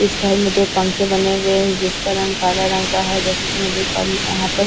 इस घर में दो पंखे बने हुए हैं जिसका रंग काला रंग का है जैसे कि मैं देख पा रही यहां पर--